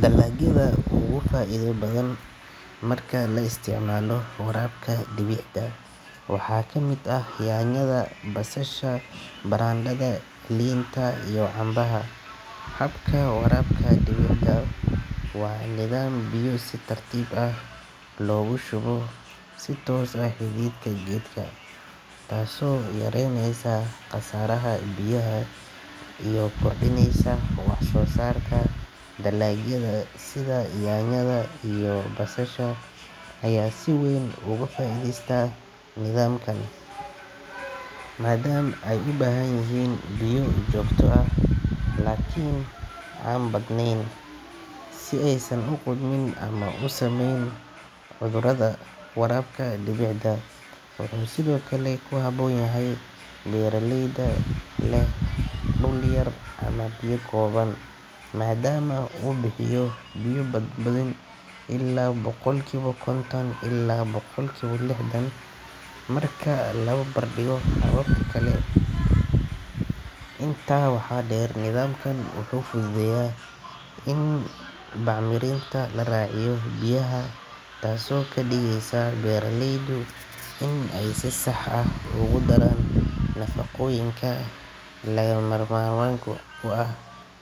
Dalagyada ugu faa’iido badan marka la isticmaalo waraabka dhibicda waxaa ka mid ah yaanyada, basasha, barandhada, liinta, iyo cambaha. Habka waraabka dhibicda waa nidaam biyo si tartiib ah loogu shubo si toos ah xididka geedka, taasoo yareyneysa khasaaraha biyaha iyo kordhineysa wax soo saarka. Dalagyada sida yaanyada iyo basasha ayaa si weyn uga faa’iideysta nidaamkan, maadaama ay u baahan yihiin biyo joogto ah laakiin aan badnayn, si aysan u qudhmin ama u saameyn cudurada. Waraabka dhibicda wuxuu sidoo kale ku habboon yahay beeraleyda leh dhul yar ama biyo kooban, maadaama uu bixiyo biyo-badbaadin ilaa boqolkiiba konton ilaa boqolkiiba lixdan marka la barbardhigo hababka kale. Intaa waxaa dheer, nidaamkan wuxuu fududeeyaa in bacriminta la raaciyo biyaha, taasoo ka dhigaysa beeralaydu in ay si sax ah ugu daraan nafaqooyinka lagama maarmaanka u ah